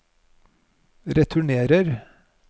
returnerer